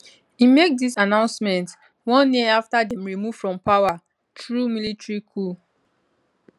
im make dis announcement one year afta dem remove from power through military coup